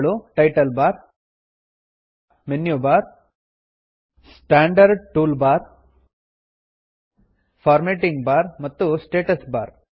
ಅವುಗಳು title bar menu bar standard tool bar formatting bar ಮತ್ತು status bar